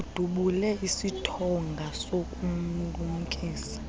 udubule isithonga sokumlumkisa